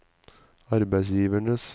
arbeidsgivernes